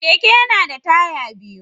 Keke yana da taya biyu.